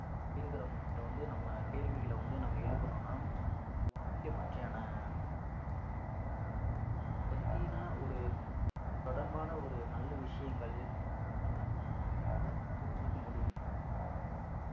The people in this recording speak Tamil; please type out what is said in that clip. அஹ் இருக்கறவங்ககிட்ட வந்து நம்ம கேள்விகளை வந்து நம்ம எழுப்புனோம்ன்னா இந்த வானிலை பற்றியான ஒரு விழிப்புணர்வு அதப் பத்தின ஒரு அது தொடர்பான ஒரு நல்ல விஷயங்கள் நம்மளால நம்ம வந்து தெரிஞ்சுக்க முடியும்